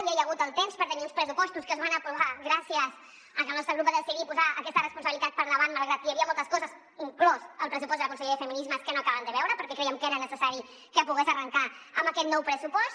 ja hi ha hagut el temps per tenir uns pressupostos que es van aprovar gràcies a que el nostre grup va decidir posar aquesta responsabilitat per davant malgrat que hi havia moltes coses inclòs el pressupost de la conselleria de feminismes que no acabàvem de veure perquè crèiem que era necessari que pogués arrencar amb aquest nou pressupost